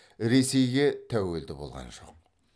ресейге тәуелді болған жоқ